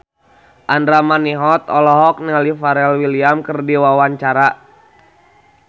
Andra Manihot olohok ningali Pharrell Williams keur diwawancara